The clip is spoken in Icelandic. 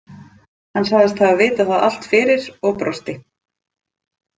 Hann sagðist hafa vitað það allt fyrir og brosti.